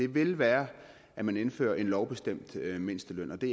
vil være at man indfører en lovbestemt mindsteløn og det